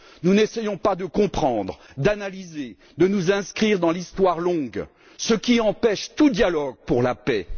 Nous n'essayons pas de comprendre, d'analyser ou de nous inscrire dans l'histoire longue, ce qui empêche tout dialogue pour la paix.